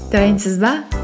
дайынсыз ба